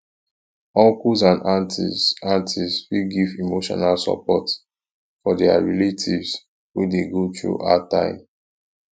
uncles and aunties aunties fit give emotional support for their relative wey de go through hard time